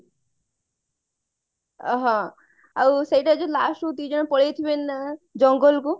ହଁ ଆଉ ସେଇଟା ଯୋଉ last କୁ ଦି ଜଣ ପଳେଇଥିବେ ନା ଜଙ୍ଗଲ କୁ